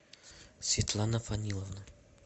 светлана фаниловна